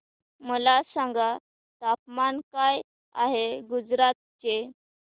मला सांगा तापमान काय आहे गुजरात चे